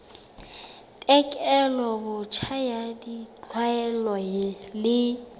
tekolo botjha ya ditlwaelo le